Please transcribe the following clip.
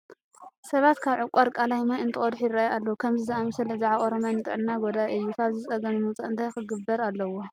ሰባት ካብ ዕቋር ቃላይ ማይ እንትቀድሑ ይርአዩ ኣለዉ፡፡ ከምዚ ዝኣምሰለ ዝዓቖረ ማይ ንጥዕና ጐዳኢ እ ዩ፡፡ ካብዚ ፀገም ንምውፃእ እንታይ ክግበር ኣለዎ?